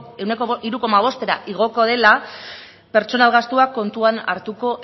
ehuneko hiru koma bostera igoko dela pertsonal gastua kontuan hartuko